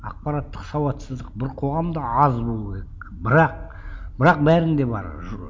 ақпараттық сауатсыздық бір қоғамда аз болу керек бірақ бірақ бәрінде бар